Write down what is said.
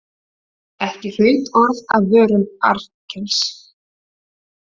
Ekki hraut orð af vörum Arnkels.